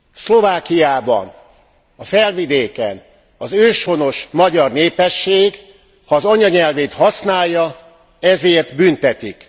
Szlovákiában, a Felvidéken az őshonos magyar népesség, ha az anyanyelvét használja, ezért büntetik.